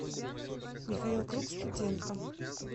михаил круг студентка